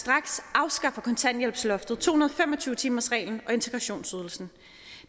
på kontanthjælpsloftet to hundrede og fem og tyve timersreglen og integrationsydelsen